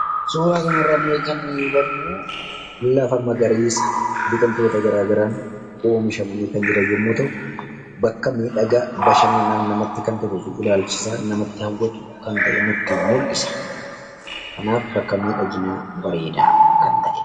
Suuraa kanarraa kan nuti hubannuu lafa magariisa biqiltota gara garaan oomishamanii jiran yommuu ta'u bakka miidhagaa bashannanaaf namatti kan toluu fi ilaalchisaa kan nama hawwatu kan ta’e mul'isa. Kanaaf bakka miidhaginaa bareedaa kan ta'edha.